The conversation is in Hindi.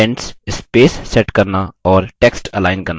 indents space set करना और text अलाइन करना